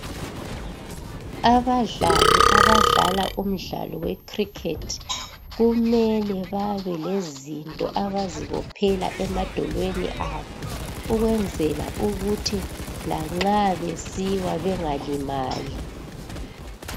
Abadlali abadala umdlalo we cricket kumele babe lezinto abazibophela emadolweni abo ukwenzela ukuthi lanxa besiwa bengalimali